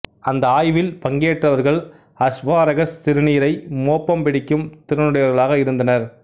அந்த ஆய்வில் பங்கேற்றவர்கள் அஸ்பாரகஸ் சிறுநீரை மோப்பம் பிடிக்கும் திறனுடையவர்களாக இருந்தனர்